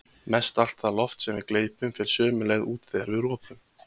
Mestallt það loft sem við gleypum fer sömu leið út þegar við ropum.